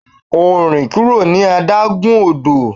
O rin kuro ni adagun odo!